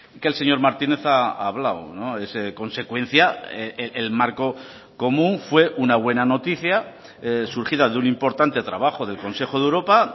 que el señor martínez ha hablado es consecuencia el marco común fue una buena noticia surgida de un importante trabajo del consejo de europa